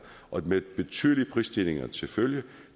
med betydelige prisstigninger til følge